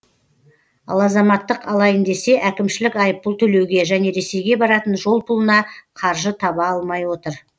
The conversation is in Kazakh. ал азаматтық алайын десе әкімшілік айыппұл төлеуге және ресейге баратын жол пұлына қаржы таба алмай отыр